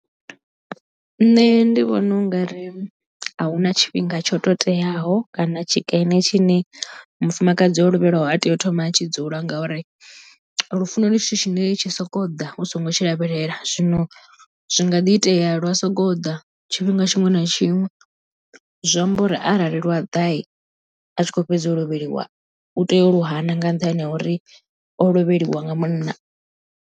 Nṋe ndi vhona ungari ahuna tshifhinga tsho teaho kana tshikene tshine mufumakadzi o lovhelwaho a tea u thoma a tshi dzula ngauri lufuno ndi tshithu tshine tshi soko ḓa u songo tshi lavhelela zwino zwi nga ḓi itea lwa soko ḓa tshifhinga tshiṅwe na tshiṅwe zwi amba uri arali lwa ḓa a tshi kho fhedza u lovheliwa u tea u lu hana nga nṱhani ha uri o lovheliwa nga munna.